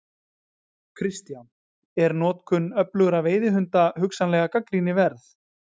Kristján: Er notkun öflugra veiðihunda hugsanlega gagnrýni verð?